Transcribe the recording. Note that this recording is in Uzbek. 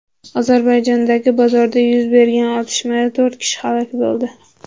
Ozarbayjondagi bozorda yuz bergan otishmada to‘rt kishi halok bo‘ldi.